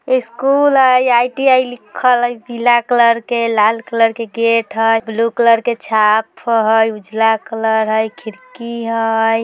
स्कूल है आई.टी.आई लिखल हइ पीला कलर के लाल कलर के गेट है ब्लू कलर के छाप हैं उजला कलर है खिड़की है ।